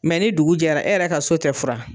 ni dugu jɛra e yɛrɛ ka so tɛ furan